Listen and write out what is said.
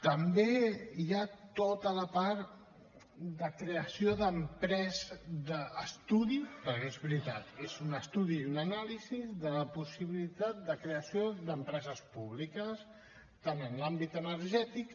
també hi ha tota la part de creació d’empreses d’estudi perquè és veritat és un estudi i una anàlisi de la possibilitat de creació d’empreses públiques tant en l’àmbit energètic